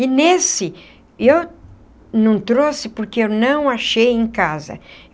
E nesse, eu não trouxe porque eu não achei em casa.